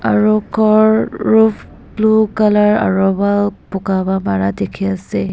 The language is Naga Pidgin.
aru ghor roof blue colour aru wall boga ba para dekhi ase.